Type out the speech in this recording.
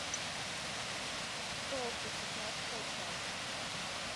тофу шестнадцатая часть